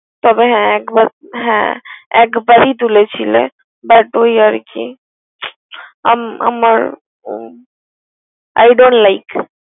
তবে হ্যা একবারই তুলেছিল But ওই আর কি আমার I dont like ।